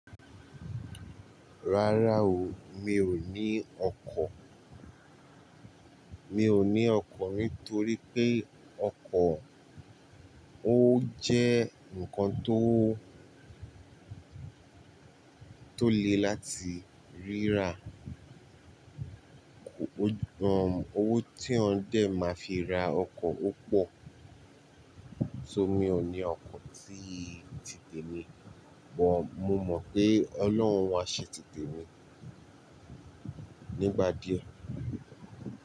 Rárá o, mi ò ní ọkọ̀. Mi ò ní ọkọ̀ nítorí pé ọkọ̀ ó jẹ́ ǹkan tó, tó le láti rírà. Owó tí èèyàn dẹ máa fi ra ọkọ̀ ó pọ̀. So mi ò ní ọkọ̀ tí ti temi, bọ mo mọ̀ pé Ọlọ́run wa ṣe ti temi nígbà díẹ̀.